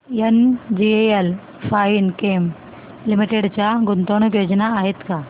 NGL Finechem limited च्या गुंतवणूक योजना आहेत का